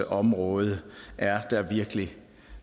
område er der virkelig